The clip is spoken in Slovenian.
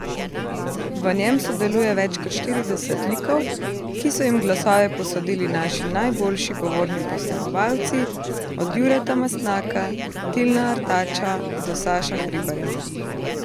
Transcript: V njem sodeluje več kot štirideset likov, ki so jim glasove posodili naši najboljši govorni posnemovalci, od Jureta Mastnaka, Tilna Artača do Saša Hribarja.